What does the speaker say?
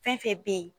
Fɛn fɛn bɛ ye